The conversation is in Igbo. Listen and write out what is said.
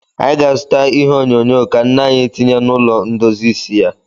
Anyị ga-azụta ihe onyonyo ka nne anyị tinye n'ụlọ ndozi isi ya.